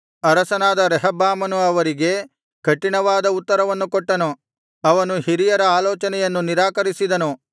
ಅರಸನಾದ ರೆಹಬ್ಬಾಮನು ಅವರಿಗೆ ಕಠಿಣವಾದ ಉತ್ತರವನ್ನು ಕೊಟ್ಟನು ಅವನು ಹಿರಿಯರ ಆಲೋಚನೆಯನ್ನು ನಿರಾಕರಿಸಿದನು